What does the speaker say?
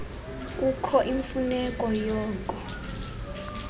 kukho imfuneko yoko